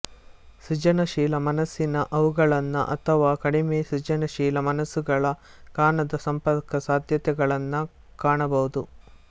ಸೃಜನಶೀಲ ಮನಸ್ಸಿನ ಅವುಗಳನ್ನು ಅಥವಾ ಕಡಿಮೆ ಸೃಜನಶೀಲ ಮನಸ್ಸುಗಳ ಕಾಣದ ಸಂಪರ್ಕ ಸಾಧ್ಯತೆಗಳನ್ನು ಕಾಣಬಹುದು